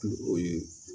O ye